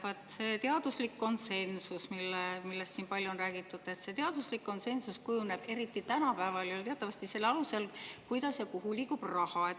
Vot see teaduslik konsensus, millest siin palju on räägitud, kujuneb eriti tänapäeval ju teatavasti selle alusel, kuidas ja kuhu liigub raha.